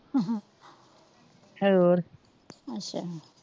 ਹੋਰ